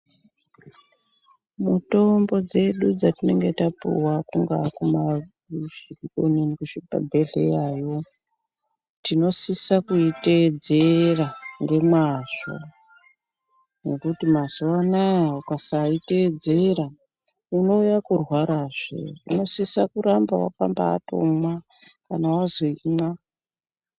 Mutombo dzedu dzatinenge tapuwa kungaa kuzvibhedhleyayo tinosisa kuitedzera ngemazvo ngekuti mazuwa anaa ukasaiteedzera unouya kurwarazve unosisa kuramba wakambatomwa kana wazi imwa.